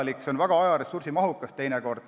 See on teinekord väga aja- ja ressursimahukas.